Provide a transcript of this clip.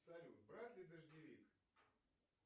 салют брать ли дождевик